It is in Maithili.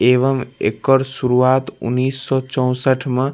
एवं एकर शुरुआत उन्नीस सौ चौंसठ मे --